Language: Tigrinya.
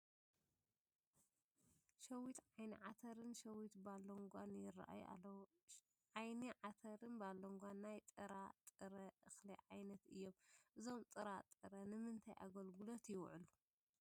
ሸዊት ዓይኒ ዓተርን ሸዊት ባሎንጓን ይርአዩ ኣለዉ፡፡ ዓይኒ ዓተርን ባሎንጓን ናይ ጥራጥረ እኽሊ ዓይነት እዮም፡፡ እዞም ጥረጣረ ንምንታይ ኣገልግሎት ይውዕሉ?